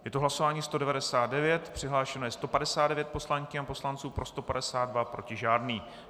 Je to hlasování 199, přihlášeno je 159 poslankyň a poslanců, pro 152, proti žádný.